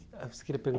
a você queria